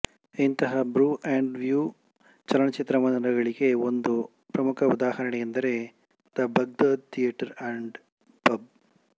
ಇಂತಹ brew and view ಚಲನಚಿತ್ರಮಂದಿರಗಳಿಗೆ ಒಂದು ಪ್ರಮುಖ ಉದಾಹರಣೆಯೆಂದರೆ the Baghdad theatre and pub